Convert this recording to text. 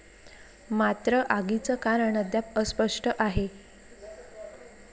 मात्र आगीचं कारण अद्याप अस्पष्ट आहे.